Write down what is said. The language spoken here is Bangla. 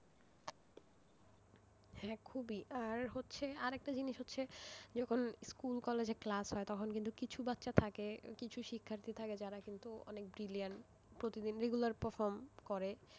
হ্যাঁ খুবই, আর হচ্ছে আরেকটা জিনিস হচ্ছে যখন স্কুল কলেজে class হয় তখন কিছু বাচ্চা থাকে কিছু শিক্ষার্থী থাকে যারা কিন্তু অনেক brilliant প্রতিদিন regular perform করে,